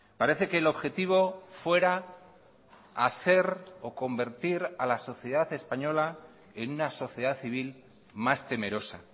parece que el objetivo fuera hacer o convertir a la sociedad española en una sociedad civil más temerosa